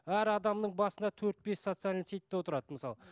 әр адамның басында төрт бес социальный сетьте отырады мысалы